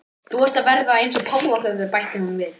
Þú ert að verða eins og páfagaukur, bætir hún við.